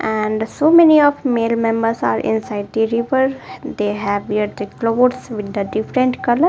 and so many of male members are inside the river they have wear the clothes with the different colour.